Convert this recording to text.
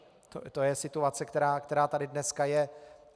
To je situace, která tady dneska je.